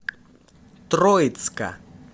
троицка